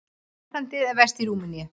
Ástandið er verst í Rúmeníu.